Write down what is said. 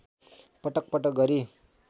पटक पटक गरी